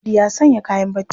Audu ya sanya kayan barci.